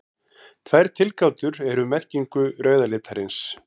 Tvær tilgátur eru um merkingu rauða litarins.